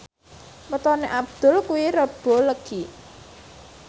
wetone Abdul kuwi Rebo Legi